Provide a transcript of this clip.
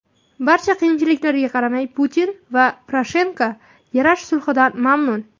Barcha qiyinchiliklarga qaramay, Putin va Poroshenko yarash sulhidan mamnun.